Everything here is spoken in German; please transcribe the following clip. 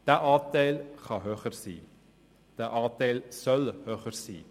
Dieser Anteil kann höher sein, dieser Anteil soll höher sein.